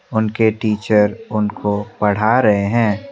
उनके टीचर उनको पढ़ा रहे हैं।